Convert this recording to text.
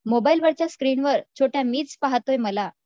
मोबाईलवरच्या स्क्रीनवर छोट्या, मीच पाहतो मला